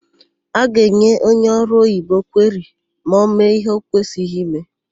A ga-enye onye ọrụoyibo kweri ma ọ mee íhé ọ kwesịghị ime.